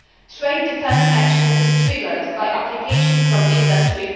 Trade defence action is triggered by applications from industry.